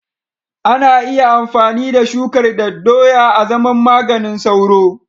Ana iya amfani da shukar daddoya azaman maganin sauro.